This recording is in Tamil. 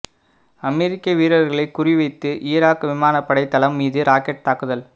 அமெரிக்க வீரர்களை குறிவைத்து ஈராக் விமானப்படை தளம் மீது ராக்கெட் தாக்குதல்